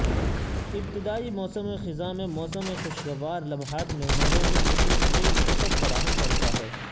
ابتدائی موسم خزاں میں موسم خوشگوار لمحات مہمانوں مصر کی ایک بہت فراہم کرتا ہے